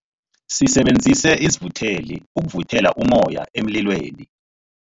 Sisebenzise isivutheli ukuvuthela ummoya emlilweni.